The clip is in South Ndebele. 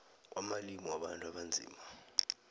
kwamalimi wabantu abanzima